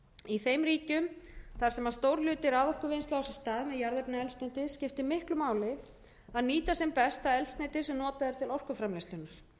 í þeim ríkjum þar sem stór hluti raforkuvinnslu á sér stað með jarðefnaeldsneyti skiptir miklu máli að nýta sem best það eldsneyti sem notað er til orkuframleiðslunnar